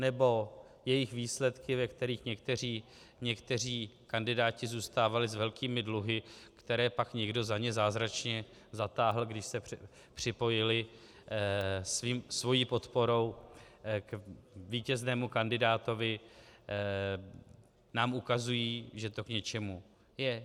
Nebo jejich výsledky, ve kterých někteří kandidáti zůstávali s velkými dluhy, které pak někdo za ně zázračně zatáhl, když se připojili svou podporou k vítěznému kandidátovi, nám ukazují, že to k něčemu je?